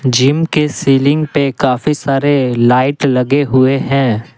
Gym के ceiling पे काफी सारे लाइट लगे हुए हैं।